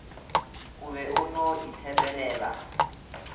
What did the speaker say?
o be o no itshepelela